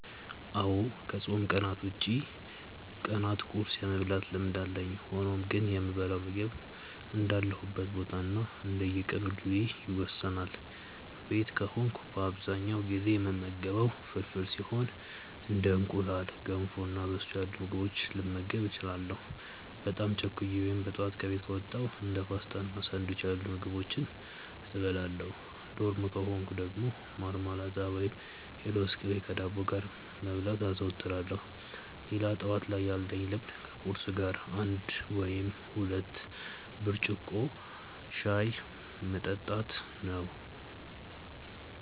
አዎ ከፆም ቀናት ውጪ ቀናት ቁርስ የመብላት ልምድ አለኝ። ሆኖም ግን የምበላው ምግብ እንዳለሁበት ቦታ እና እንደቀን ውሎዬ ይወሰናል። ቤት ከሆንኩ በአብዛኛው ጊዜ የምመገበው ፍርፍር ሲሆን እንደ እንቁላል፣ ገንፎ እና በሶ ያሉ ምግቦችንም ልመገብ እችላለሁ። በጣም ቸኩዬ ወይም በጠዋት ከቤት ከወጣው እንደ ፓስቲ እና ሳንዱች ያሉ ምግቦችን እበላለሁ። ዶርም ከሆንኩ ደግሞ ማርማላት ወይም የለውዝ ቅቤ ከዳቦ ጋር መብላት አዘወትራለሁ። ሌላ ጠዋት ላይ ያለኝ ልምድ ከቁርስ ጋር አንድ ወይም ሁለት ብርጭቆ ሻይ መጠጣት ነው።